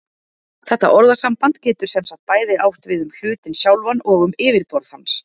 Þetta orðasamband getur sem sagt bæði átt við um hlutinn sjálfan og um yfirborð hans.